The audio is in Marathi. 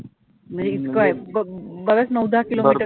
म्हणजे इतकं आहे ब बरचं नऊ दहा किलो meter